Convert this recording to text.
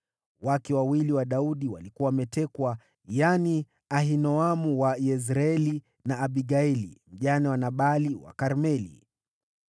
Wake wawili wa Daudi walikuwa wametekwa: yaani Ahinoamu wa Yezreeli, na Abigaili, mjane wa Nabali wa Karmeli.